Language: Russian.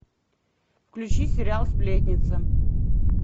включи сериал сплетница